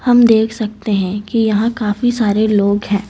हम देख सकते हैं कि यहां काफी सारे लोग हैं।